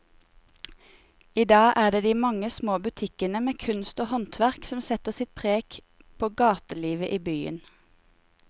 I dag er det de mange små butikkene med kunst og håndverk som setter sitt preg på gatelivet i byen.